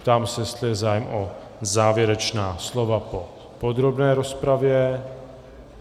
Ptám se, jestli je zájem o závěrečná slova po podrobné rozpravě.